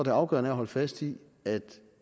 er afgørende at holde fast i at